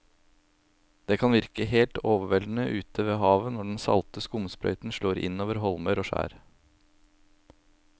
Det kan virke helt overveldende ute ved havet når den salte skumsprøyten slår innover holmer og skjær.